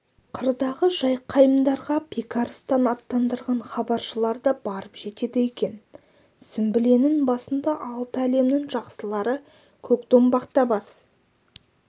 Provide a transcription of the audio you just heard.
қырдағы жақайымдарға бекарыстан аттандырған хабаршылар да барып жетеді екен сүмбіленің басында алты әлімнің жақсылары көкдомбақта бас